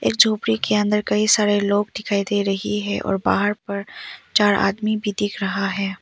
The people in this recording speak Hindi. एक झोपड़ी के अंदर कई सारे लोग दिखाई दे रही है और बाहर पर चार आदमी भी दिख रहा है।